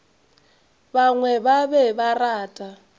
bangwe ba be ba rata